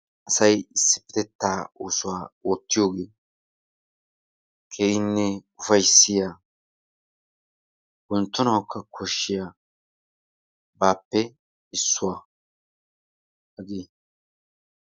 Asay issippetetaa oosuwa oottiyogee keehinne ufayissiya wonttonawukka koshshiyabaappe issuwa.